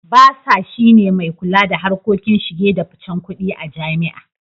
Basa (Bursar) shi ne mai kula da harkokin shige da ficen kudi a jami'a.